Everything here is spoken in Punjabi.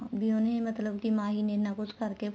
ਵੀ ਉਹਨੇ ਮਤਲਬ ਕੇ ਮਾਹੀ ਨੇ ਇੰਨਾ ਕੁੱਛ ਕਰਕੇ